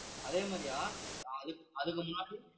அதே மாதிரியா அதுக்~ அதுக்கு முன்னாடி